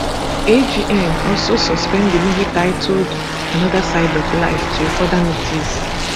agn also suspend di movie titled another side of life till further notice